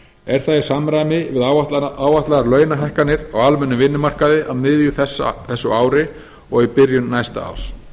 er það í samræmi við áætlaðar launahækkanir á almennum vinnumarkaði á miðju þessu ári og í byrjun næsta árs